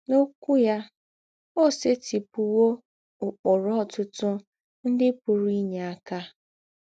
N’Ǒkwú yà, ó sètị̀pụ̀wò ụ́kpụrụ̀ ọ̀tụ̀tụ̀ ńdị pụ̀rù́ ínyé àkà.